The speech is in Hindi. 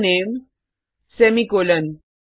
string name semicolon